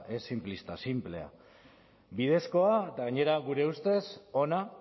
ez sinplista sinplea bidezkoa eta gainera gure ustez ona